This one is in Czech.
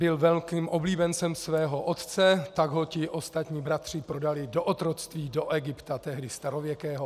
Byl velkým oblíbencem svého otce, tak ho ti ostatní bratři prodali do otroctví do Egypta, tehdy starověkého.